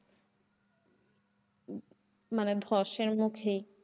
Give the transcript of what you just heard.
মানে ধসের মুখেই,